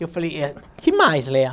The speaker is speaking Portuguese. Eu falei, eh, que mais, Lea?